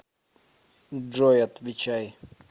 джой отвечай